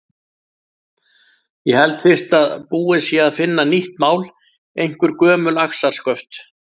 Ég held fyrst að búið sé að finna nýtt mál, einhver gömul axarsköft.